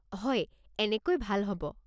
হয়, এনেকৈ ভাল হ'ব।